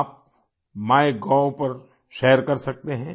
आप माइगोव पर शेयर कर सकते हैं